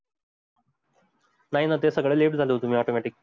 नाही ना ते सगळं left झालं तुम्ही automatic